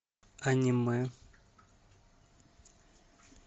аниме